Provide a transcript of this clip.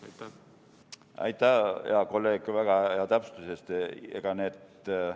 Aitäh, hea kolleeg, väga hea täpsustuse eest!